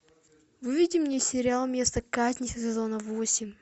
выведи мне сериал место казни сезона восемь